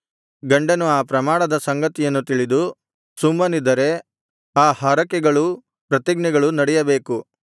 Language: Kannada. ಗಂಡನು ಆ ಪ್ರಮಾಣದ ಸಂಗತಿಯನ್ನು ತಿಳಿದು ಸುಮ್ಮನಿದ್ದರೆ ಆ ಹರಕೆಗಳೂ ಪ್ರತಿಜ್ಞೆಗಳೂ ನಡೆಯಬೇಕು